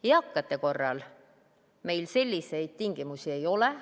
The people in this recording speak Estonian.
Eakate korral meil selliseid tingimusi ei ole.